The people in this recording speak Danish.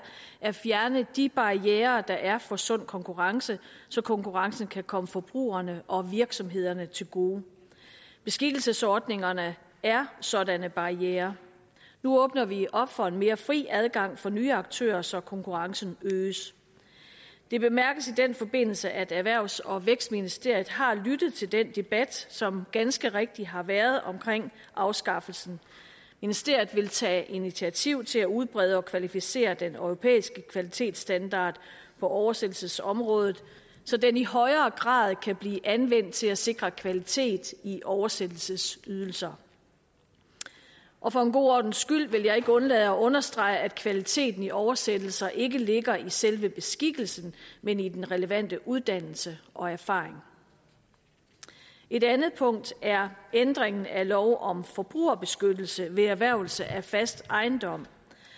at fjerne de barrierer der er for sund konkurrence så konkurrencen kan komme forbrugerne og virksomhederne til gode beskikkelsesordningerne er sådanne barrierer nu åbner vi op for en mere fri adgang for nye aktører så konkurrencen øges det bemærkes i den forbindelse at erhvervs og vækstministeriet har lyttet til den debat som ganske rigtig har været om afskaffelsen ministeriet vil tage initiativ til at udbrede og kvalificere den europæiske kvalitetsstandard på oversættelsesområdet så den i højere grad kan blive anvendt til at sikre kvalitet i oversættelsesydelser og for god ordens skyld vil jeg ikke undlade at understrege at kvaliteten i oversættelser ikke ligger i selve beskikkelsen men i den relevante uddannelse og erfaring et andet punkt er ændringen af lov om forbrugerbeskyttelse ved erhvervelse af fast ejendom